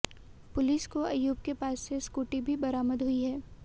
police को अयूब के पास से स्कूटी भी बरामद हुई है